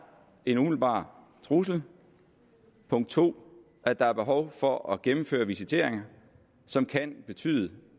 en umiddelbar trussel punkt to at der er behov for at gennemføre visiteringer som kan betyde